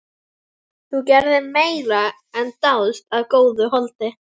Þú gerðir meira en dást að góðu holdi.